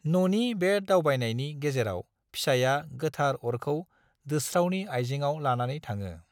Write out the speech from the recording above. न'नि बे दावबायनायनि गेजेराव फिसाया गोथार अरखौ दोस्रावनि आइजेंआव लानानै थाङो।